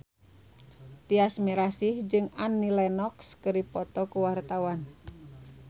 Tyas Mirasih jeung Annie Lenox keur dipoto ku wartawan